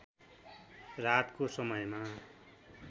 रातको समयमा